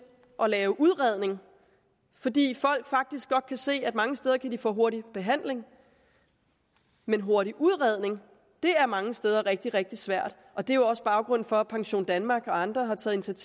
at lave udredning fordi folk faktisk godt kan se at de mange steder kan få hurtig behandling men hurtig udredning er mange steder rigtig rigtig svært det er jo også baggrunden for at pensiondanmark og andre har taget